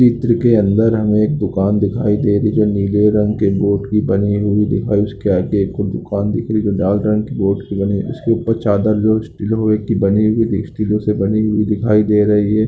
चित्र के अंदर हमें एक दुकान दिखाई दे रही है जो नीले रंग के बोर्ड की बनी हुई दिखाई उसके आगे एक और दुकान दिख रही है जो लाल रंग के बोर्ड की बनी है उसके ऊपर चादर जो स्टील लोहे की बनी हुई स्टील से बनी हुई दिखाई दे रही है।